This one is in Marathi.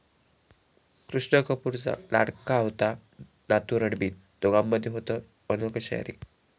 कृष्णा कपूरचा लाडका होता नातू रणबीर, दोघांमध्ये होतं अनोखं शेअरिंग